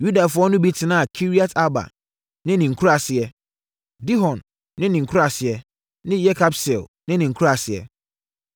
Yudafoɔ no bi tenaa Kiriat-Arba ne ne nkuraaseɛ, Dibon ne ne nkuraaseɛ ne Yekabseel ne ne nkuraaseɛ.